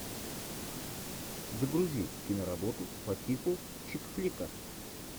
загрузи киноработу по типу чикфлика